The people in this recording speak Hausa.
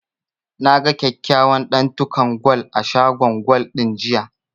Na ga kyakkyawan ɗantukan gwal a shagon gwal ɗin, jiya.